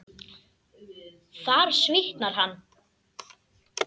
Þar svitnar hann.